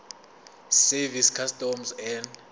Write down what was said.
service customs and